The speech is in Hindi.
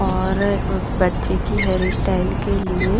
और उस बच्चे की हेयर स्टाइल के लिए--